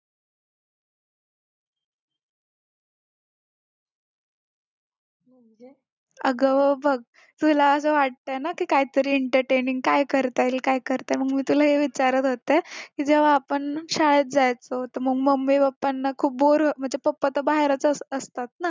अग बघ तुला असं वाटतंय ना की काहीतरी entertaining काय करता येईल काय करते मग मी तुला हे विचारत होते किजेव्हा आपण शाळेत जायचो तर mummy papa ना खूप बोर अं म्हणजे papa तर बाहेरच असतात